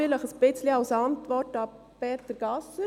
Dies ein bisschen als Antwort an Peter Gasser.